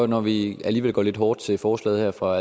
når vi alligevel går lidt hårdt til forslaget her fra